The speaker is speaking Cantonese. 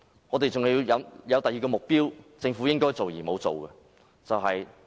我們還有另一個目標，是政府應該做卻沒有做的。